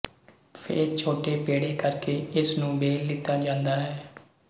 ਫੇਰ ਛੋਟੇ ਪੇੜੇ ਕਰਕੇ ਇਸਨੂੰ ਬੇਲ ਲਿੱਤਾ ਜਾਂਦਾ ਹੈ